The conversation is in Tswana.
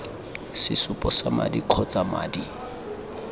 sesupo sa madi kgotsa madi